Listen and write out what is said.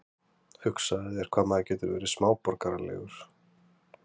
Hugsaðu þér hvað maður getur verið smáborgaralegur.